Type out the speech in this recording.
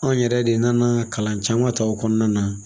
Anw yɛrɛ de nana kalan caman ta o kɔnɔna na